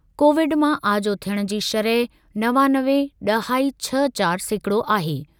Covid मां आजो थियण जी शरह नवानवे ॾहाई छह चार सेकिड़ो आहे।